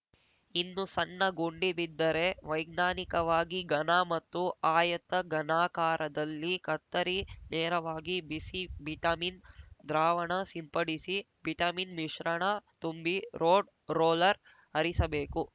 ಇನ್ನು ಸಣ್ಣ ಗುಂಡಿ ಬಿದ್ದರೆ ವೈಜ್ಞಾನಿಕವಾಗಿ ಘನ ಮತ್ತು ಆಯತ ಘನಾಕಾರದಲ್ಲಿ ಕತ್ತರಿ ನೇರವಾಗಿ ಬಿಸಿ ಬಿಟಮಿನ್‌ ದ್ರಾವಣ ಸಿಂಪಡಿಸಿ ಬಿಟಮಿನ್‌ ಮಿಶ್ರಣ ತುಂಬಿ ರೋಡ್‌ ರೋಲರ್‌ ಹರಿಸಬೇಕು